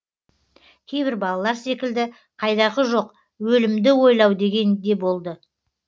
кейбір балалар секілді қайдағы жоқ өлімді ойлау деген де болды